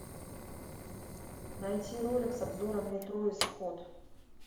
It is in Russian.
найти ролик с обзором метро исход